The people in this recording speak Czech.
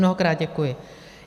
Mnohokrát děkuji.